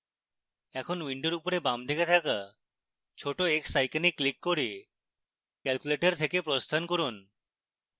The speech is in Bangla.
এখন window উপরে বামদিকে থাকা ছোট x icon ক্লিক করে calculator থেকে প্রস্থান করুন